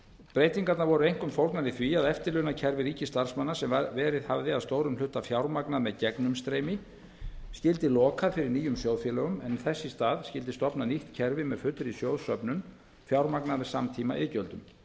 breytingarnar voru einkum fólgnar í því að eftirlaunakerfi ríkisstarfsmanna sem verið hafði að stórum hluta fjármagnað með gegnumstreymi skyldi lokað fyrir nýjum sjóðfélögum en í þess stað skyldi stofnað nýtt kerfi með fullri sjóðsöfnun fjármagnað með samtímaiðgjöldum